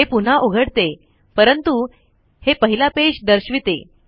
हे पुन्हा उघडते परंतु हे पहिला पेज दर्शविते